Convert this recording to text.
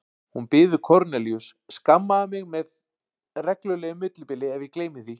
Hún biður Kornelíus: Skammaðu mig með reglulegu millibili ef ég gleymi því